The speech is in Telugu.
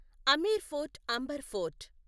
Amer fort Amber fort